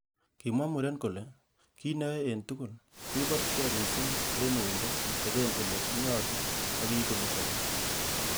Kimwa muren kole,"Kit neiyoe en tugul, ko iborchige missing en uindo iteben ele nyolu ak iigu nechobot."